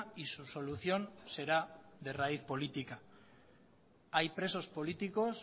y su solución será de raíz política hay presos políticos